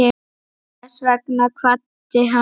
Þess vegna kvaddi hann.